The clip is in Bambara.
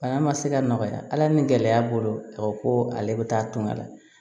Bana ma se ka nɔgɔya ala ni gɛlɛya bolo a ko ko ale bɛ taa tungan na